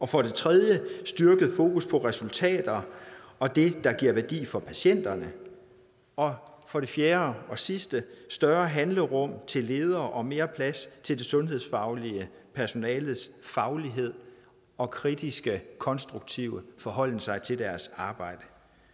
for det tredje et styrket fokus på resultater og det der giver værdi for patienterne og for det fjerde og sidste større handlerum til ledere og mere plads til det sundhedsfaglige personales faglighed og kritiske konstruktive forholden sig til deres arbejde